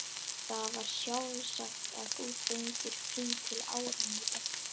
Það var alveg sjálfsagt að þú fengir frí til áramóta.